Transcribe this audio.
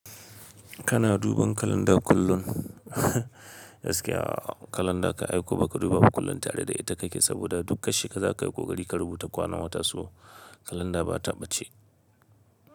Kana duban kalanda kullum? Gaskiya a'a, kalanda kan ai ko ba ka duba ba kullum tare da ita kake saboda dukka she ka za kai ƙoƙari ka rubuta kwanan wata, so kalanda ba ta ɓace.